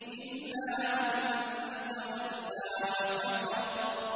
إِلَّا مَن تَوَلَّىٰ وَكَفَرَ